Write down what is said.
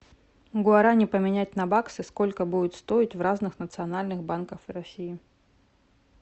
гуарани поменять на баксы сколько будет стоить в разных национальных банках россии